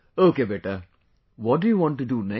Ok beta, what do you want to do next